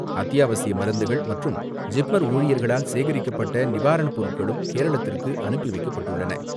அத்தியாவசிய மருந்துகள் மற்றும் ஜிப்மர் ஊழியர்களால் சேகரிக்கப்பட்ட நிவாரணப் பொருட்களும் கேரளத்திற்கு அனுப்பிவைக்கப்பட்டுள்ளன.